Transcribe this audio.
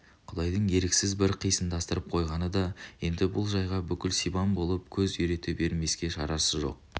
құдайдың бір еріксіз қисындастырып қойғаны да енді бұл жайға бүкіл сибан болып көз үйрете бермеске шарасы жоқ